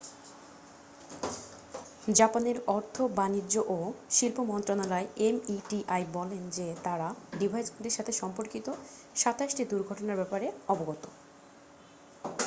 জাপানের অর্থ বাণিজ্য ও শিল্প মন্ত্রণালয় meti বলেন যে তারা ডিভাইসগুলির সাথে সম্পর্কিত 27 টি দুর্ঘটনার ব্যাপারে অবগত।